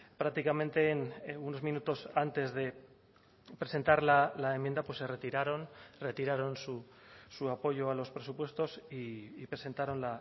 prácticamente unos minutos antes de presentar la enmienda se retiraron retiraron su apoyo a los presupuestos y presentaron